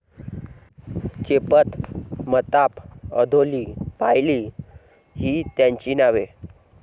चेपत, मताप, अधोली, पायली, ही त्याची नावे.